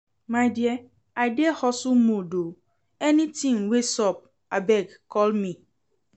My dear I dey hustle mode oo, anything wey sup abeg call me